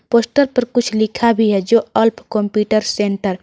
Poster पर कुछ लिखा भी है जो अल्फ कंप्यूटर सेंटर ।